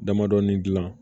Damadɔnin gilan